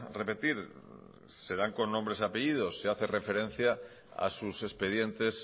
repetir se dan con nombres y apellidos se hace referencia a sus expedientes